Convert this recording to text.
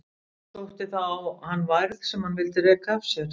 Sótti þá á hann værð sem hann vildi reka af sér.